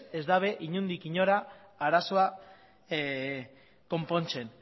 ez dute inondik inora arazoa konpontzen